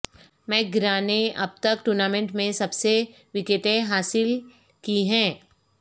McGrath نے اب تک ٹورنامنٹ میں سب سے وکٹیں حاصل کی ہیں